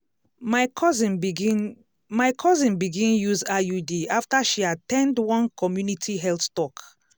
my cousin begin my cousin begin use iud after she at ten d one community health talk.